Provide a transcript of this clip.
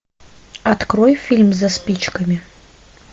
открой фильм за спичками